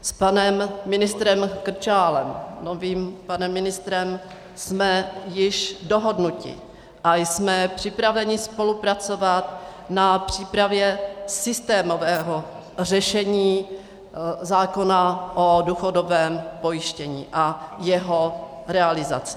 S panem ministrem Krčálem, novým panem ministrem, jsme již dohodnuti a jsme připraveni spolupracovat na přípravě systémového řešení zákona o důchodovém pojištění a jeho realizaci.